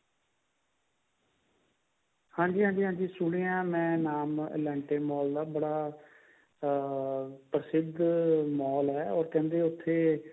ਹਾਂਜੀ ਹਾਂਜੀ ਸੁਣਿਆ ਮੈਂ ਨਾਮ elante mall ਦਾ ਬੜਾ ਅਹ ਬੜਾ ਪ੍ਰਸਿਧ mall ਹੈ ਉਹ ਕਹਿੰਦੇ ਉੱਥੇ